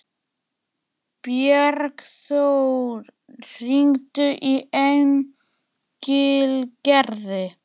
Bjargþór, hringdu í Engilgerði.